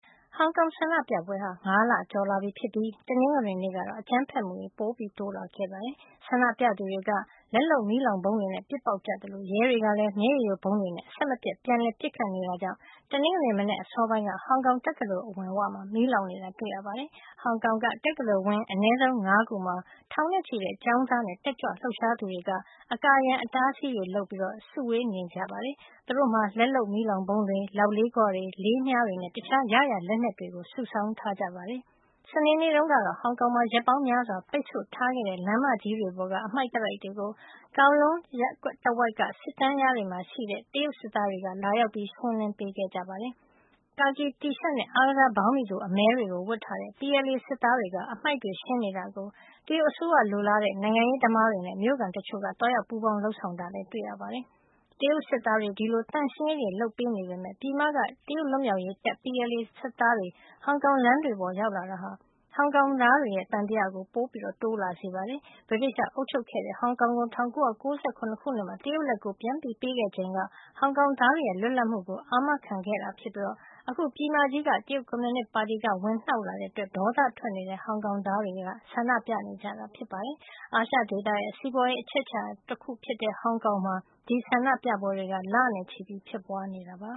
ဟောင်ကောင်ဆန္ဒပြပွဲတွေဖြစ်တာ ၅ လကျော်လာပြီဖြစ်ပြီး တနင်္ဂနွေနေ့ကတော့ အကြမ်းဖက်မှုတွေ ပိုတိုးလာခဲ့ပါတယ်။ ဆန္ဒပြသူတွေက လက်လုပ် မီးလောင်ဗုံးတွေနဲ့ ပစ်ပေါက်ကြသလို ရဲတွေကလည်း မျက်ရည်ယိုဗုံးတွေနဲ့ အဆက်မပြတ် ပြန်လည်ပစ်ခတ်နေတာကြောင့် တနင်္ဂနွေ မနက်အစောပိုင်းက ဟောင်ကောင်တက္ကသိုလ်အဝမှာ မီးလောင်နေတာ တွေ့ရပါတယ်။ ဟောင်ကောင်က တက္ကသိုလ်ဝင်း အနည်းဆုံး ၅ ခုမှာ ထောင်နဲ့ချီတဲ့ ကျောင်းသားနဲ့ တက်ကြွလှုပ်ရှားသူတွေက အကာအရံ အတားအဆီးတွေလုပ်ပြီး နေနေကြပါတယ်။ သူတို့မှာ လက်လုပ်မီးလောင်ဗုံးတွေ၊ လောက်လေးခွတွေ၊ လေးမြားတွေနဲ့ တခြား ရရာလက်နက်တွေ စုဆောင်းထားကြတာပါ။ စနေနေ့တုန်းကတော့ ဟောင်ကောင်မှာ ရက်ပေါင်းများစွာ ပိတ်ဆို့ထားခဲ့တဲ့ လမ်းမကြီးတွေပေါ်က အတားအဆီးတွေကို Kowloon တဝိုက်က စစ်တန်းလျားတွေမှာ ရှိနေတဲ့ တရုတ်စစ်သားတွေက ထွက်ရှင်းကြပါတယ်။ ကာကီတီရှပ်နဲ့ အားကစားဘောင်းဘီတို အမည်းတွေ ဝတ်ထားတဲ့ PLA စစ်သားတွေ အတားအဆီးတွေ ရှင်းနေတာကို တရုတ်အစိုးရလိုလားတဲ့ နိုင်ငံရေးသမားတွေနဲ့ မြို့ခံတချို့က သွားရောက်ပူးပေါင်း လုပ်ဆောင်တာလည်း တွေ့ရပါတယ်။ တရုတ်စစ်သားတွေ ဒီလို ရှင်းလင်းပေမယ့် ပြည်မက တရုတ်လွတ်မြောက်ရေးတပ် PLA စစ်သားတွေ ဟောင်ကောင်လမ်းတွေပေါ်မှာ ရောက်လာတာက ဟောင်ကောင်သားတွေရဲ့ သံသယကို ပိုတိုးလာစေတာပါ။ ဗြိတိသျှအုပ်ချုပ်ခဲ့တဲ့ ဟောင်ကောင်ကို ၁၉၉၇ ခုနှစ်မှာ တရုတ်လက်ကို ပြန်ပေးခဲ့ချိန်က ဟောင်ကောင်သားတွေရဲ့ လွတ်လပ်မှုကို အာမခံခဲ့တာဖြစ်ပြီး အခု ပြည်မကြီးက တရုတ်ကွန်မြူနစ်ပါတီက ဝင်နှောက်လာတဲ့အတွက် ဒေါသထွက်နေတဲ့ ဟောင်ကောင်သားတွေက ဆန္ဒပြနေကြတာ ဖြစ်ပါတယ်။ အာရှဒေသရဲ့ စီးပွားရေးအချက်အချာဒေသဖြစ်တဲ့ ဟောင်ကောင်မှာ ဒီဆန္ဒပြပွဲတွေက လနဲ့ချီ ဖြစ်ပွားနေတာပါ။